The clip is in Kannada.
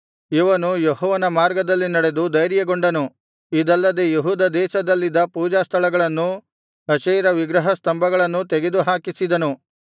ಇವನು ಯೆಹೋವನ ಮಾರ್ಗದಲ್ಲಿ ನಡೆದು ಧೈರ್ಯಗೊಂಡನು ಇದಲ್ಲದೆ ಯೆಹೂದ ದೇಶದಲ್ಲಿದ್ದ ಪೂಜಾಸ್ಥಳಗಳನ್ನೂ ಅಶೇರ ವಿಗ್ರಹ ಸ್ತಂಭಗಳನ್ನೂ ತೆಗೆದು ಹಾಕಿಸಿದನು